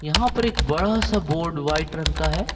यहां पर एक बड़ा सा बोर्ड व्हाइट रंग का है।